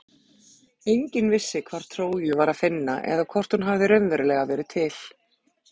Enginn vissi hvar Tróju var að finna eða hvort hún hafði raunverulega verið til.